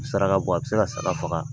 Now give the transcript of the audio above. Saraka bɔ a bɛ se ka saga faga